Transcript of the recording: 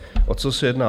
O co se jedná?